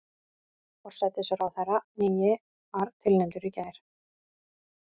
Forsætisráðherrann nýi var tilnefndur í gær